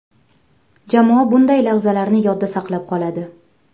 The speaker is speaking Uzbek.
Jamoa bunday lahzalarni yodda saqlab qoladi.